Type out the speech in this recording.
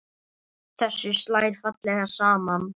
Þessu slær fallega saman.